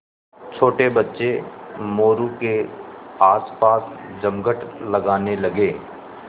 छोटे बच्चे मोरू के आसपास जमघट लगाने लगे